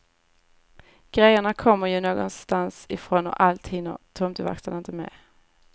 Grejerna kommer ju någonstans ifrån och allt hinner tomteverkstan inte med.